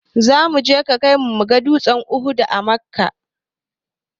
Za a kaimu muga dutsen uhud a makka